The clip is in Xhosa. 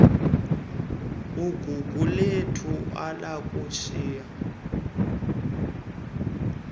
ugugulethu ala ukusayina